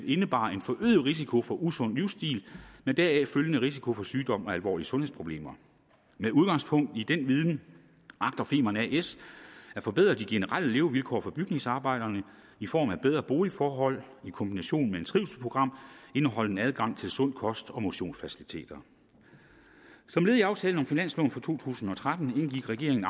indebar en forøget risiko for usund livsstil med deraf følgende risiko for sygdom og alvorlige sundhedsproblemer med udgangspunkt i den viden agter femern as at forbedre de generelle levevilkår for bygningsarbejderne i form af bedre boligforhold i kombination med et trivselsprogram indeholdende adgang til sund kost og motionsfaciliteter som led i aftalen om finansloven for to tusind og tretten indgik regeringen